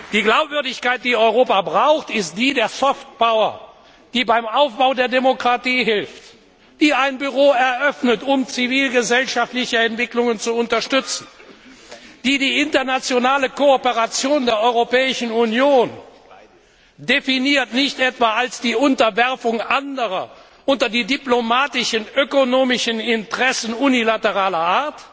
Die Glaubwürdigkeit, die Europa braucht, ist die der Soft Power die beim Aufbau der Demokratie hilft, die ein Büro eröffnet, um zivilgesellschaftliche Entwicklungen zu unterstützen, die die internationale Kooperation der Europäischen Union nicht etwa als die Unterwerfung anderer unter die diplomatischen, ökonomischen Interessen unilateraler Art